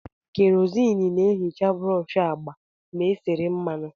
Kerosene na-ehicha brọsh agba ma e sere mmanụ.